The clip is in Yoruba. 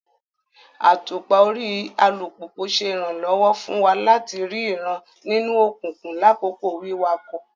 Àtùpà orí alupupu ṣe iranlọwọ fun wa lati rii ìran nínú òkùnkùn lakoko wiwakọ